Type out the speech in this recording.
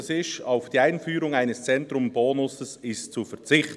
«Auf die Einführung eines Zentrumsbonus ist zu verzichten.